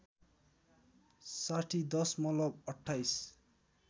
साठी दशमलव २८